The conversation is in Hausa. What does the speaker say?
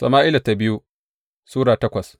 biyu Sama’ila Sura takwas